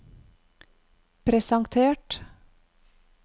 presentert